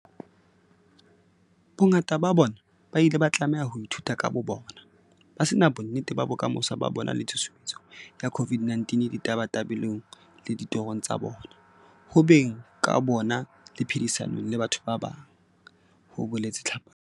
"Bongata ba bona ba ile ba tlameha ho ithuta ka bobona, ba se na bonnete ba bokamoso ba bona le tshusumetso ya COVID-19 ditabatabelong le ditorong tsa bona, ho beng ka bona le phedisanong le batho ba bang," ho boletse Tlhapane.